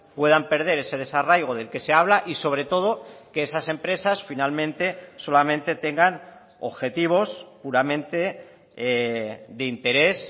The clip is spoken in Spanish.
puedan perder ese desarraigo del que se habla y sobretodo que esas empresas finalmente solamente tengan objetivos puramente de interés